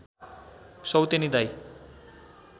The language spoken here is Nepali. सौतेनी दाइ